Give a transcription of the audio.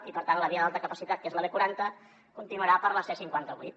i per tant la via d’alta capacitat que és la b quaranta continuarà per la c cinquanta vuit